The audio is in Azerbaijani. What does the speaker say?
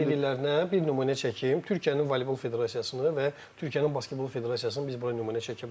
Bax sən dediklərinə bir nümunə çəkim, Türkiyənin voleybol federasiyasını və Türkiyənin basketbol federasiyasını biz bura nümunə çəkə bilərik.